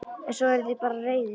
En svo eruð þið bara reiðir.